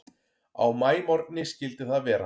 Á maímorgni skyldi það vera.